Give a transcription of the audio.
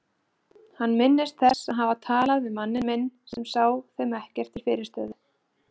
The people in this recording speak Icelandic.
Hann minnist þess að hafa talað við manninn minn sem sá þeim ekkert til fyrirstöðu.